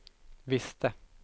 visste